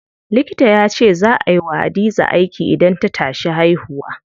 Likita yace zaa ay wa Hadiza aiki idan ta tashi haihuwa.